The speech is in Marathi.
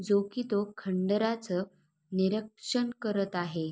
जो की तो खंडराच निरीक्षण करत आहे.